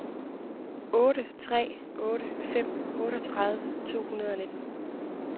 otte tre otte fem otteogtredive to hundrede og nitten